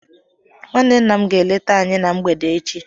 Nwanne nna m ga-eleta anyị na mgbede echi